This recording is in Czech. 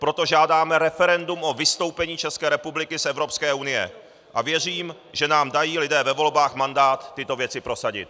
Proto žádáme referendum o vystoupení České republiky z Evropské unie a věřím, že nám dají lidé ve volbách mandát tyto věci prosadit.